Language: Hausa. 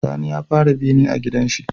Sani ya fara bene a gidan shi